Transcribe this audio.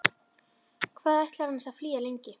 Hvað ætlarðu annars að flýja lengi?